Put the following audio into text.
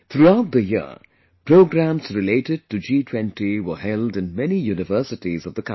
Throughout the year, programs related to G20 were held in many universities of the country